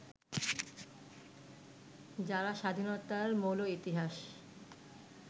যারা স্বাধীনতার মৌল ইতিহাস